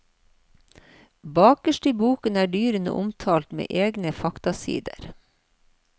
Bakerst i boken er dyrene omtalt med egne faktasider.